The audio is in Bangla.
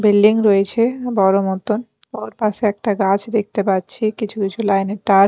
বিল্ডিং রয়েছে বড় মতন ওর পাশে একটা গাছ দেখতে পাচ্ছি কিছু কিছু লাইন -এর তার।